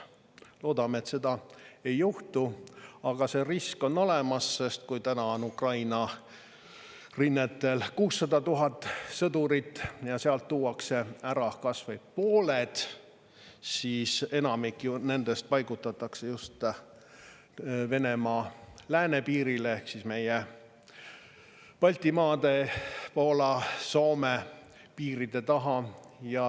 Loodame, et seda ei juhtu, aga see risk on olemas, sest kui täna on Ukraina rinnetel 600 000 sõdurit ja sealt tuuakse ära kas või pooled, siis enamik nendest paigutatakse just Venemaa läänepiirile ehk meie, Baltimaade, Poola, Soome piiride taha.